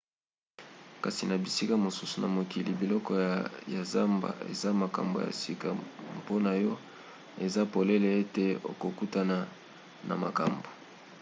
kasi na bisika mosusu na mokili biloko ya zamba eza makambo ya sika mpona yo eza polele ete okokutana na makambo